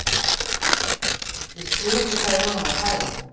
Ég skil ekki hvað við vorum að pæla.